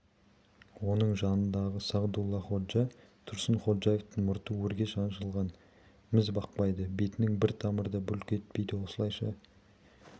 оның жанындағы сағдуллаходжа тұрсынходжаевтың мұрты өрге шаншылған міз бақпайды бетінің бір тамыры да бүлк етпейді осылайша